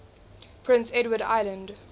prince edward island